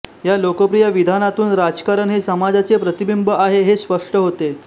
या लोकप्रिय विधानातून राजकारण हे समाजाचे प्रतिबिंब आहे हे स्पष्ट होते